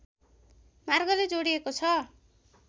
मार्गले जोडिएको छ